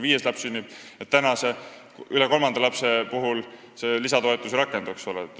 Praegu see lisatoetus kolmandast lapsest järgmise puhul ei rakendu.